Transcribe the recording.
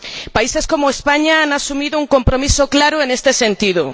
Países como España han asumido un compromiso claro en este sentido.